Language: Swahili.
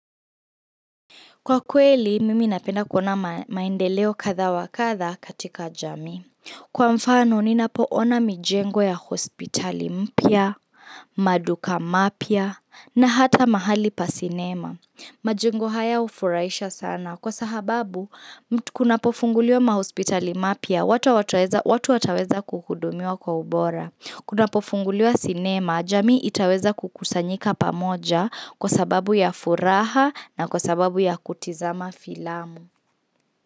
Kwa kweli, mimi napenda kuona maendeleo kadha wa kadha katika jamii. Kwa mfano, ninapo ona mijengo ya hospitali mpya, maduka mapya, na hata mahali pa sinema. Majengo haya hufurahisha sana. Kwa sahababu, kunapo funguliwa mahospitali mapya, watu wataweza kukudumiwa kwa ubora. Kunapofunguliwa sinema, jamii itaweza kukusanyika pamoja kwa sababu ya furaha na kwa sababu ya kutizama filamu.